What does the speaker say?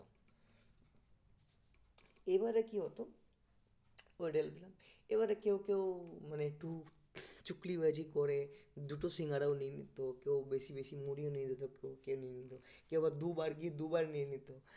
এবারে কি হতো? এবারে কেউ কেউ মানে একটু চুকলি বাজি করে দুটো সিঙ্গারাও নিয়ে নিতো কেউ বেশি বেশি মুড়ি ও নিয়ে নিতো নিয়ে নিতো কেউ আবার দুবার গিয়ে দুবার নিয়ে নিত